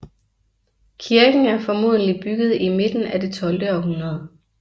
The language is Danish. Kirken er formodentlig bygget i midten af det tolvte århundrede